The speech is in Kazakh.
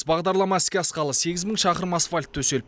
бағдарлама іске асқалы сегіз мың шақырым асфальт төсел